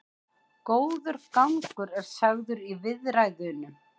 Góður gangur er sagður í viðræðunum